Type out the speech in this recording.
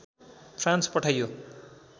France पठाइयो